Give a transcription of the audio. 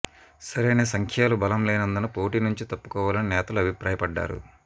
సరైన సంఖ్యాలు బలం లేనందున పోటీ నుంచి తప్పుకోవాలని నేతలు అభిప్రాయపడ్డారు